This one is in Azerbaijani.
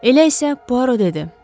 Elə isə Puaro dedi: